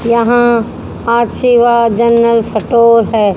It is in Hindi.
यहां आशीर्वाद जनरल स्टोर है।